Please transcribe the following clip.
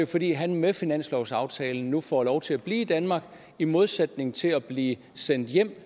fordi han med finanslovsaftalen nu får lov til at blive i danmark i modsætning til at blive sendt hjem